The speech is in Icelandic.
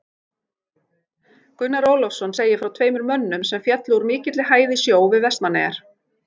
Gunnar Ólafsson segir frá tveimur mönnum sem féllu úr mikilli hæð í sjó við Vestmannaeyjar.